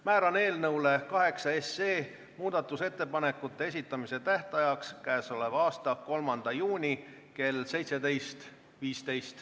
Määran muudatusettepanekute esitamise tähtajaks 3. juuni kell 17.15.